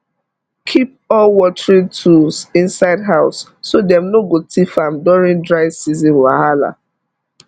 keep all watering tools inside house so dem no go thief am during dry season wahala